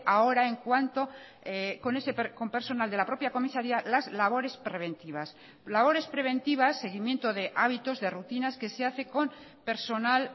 ahora en cuanto con personal de la propia comisaría las labores preventivas labores preventivas seguimiento de hábitos de rutinas que se hace con personal